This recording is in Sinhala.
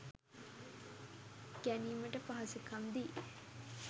ගැනීමට පහසුකම් දී